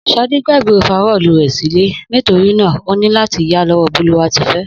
Sadé gbàgbé ofarọ́ọ̀lu rè sílé nitorinà ọ ní láti yá lọ́wọ́o Bólúwatifẹ́